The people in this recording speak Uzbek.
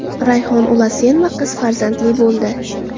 Rayhon Ulasenova qiz farzandli bo‘ldi.